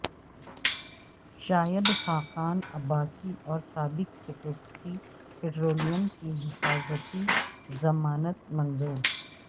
شاہد خاقان عباسی اور سابق secretary petroleum کی حفاظتی ضمانت منظور